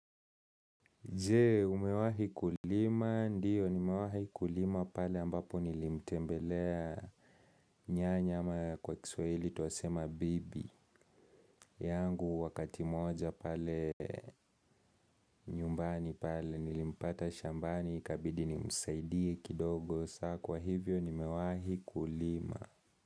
Je, umewahi kulima? Ndiyo nimewahi kulima pale ambapo nilimtembelea nyanya ama kwa kiswahili tuwasema bibi. Yangu wakati moja pale nyumbani pale nilimpata shambani ikabidi ni msaidie kidogo. So kwa hivyo nimewahi kulima.